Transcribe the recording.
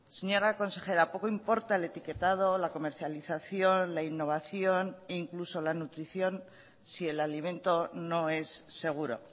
señora consejera poco importa el etiquetado o la comercialización la innovación e incluso la nutrición si el alimento no es seguro